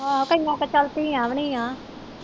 ਅਹ ਕਈਆ ਕੇ ਚਲ ਧੀਆਂ ਵੀ ਨੀ ਆ।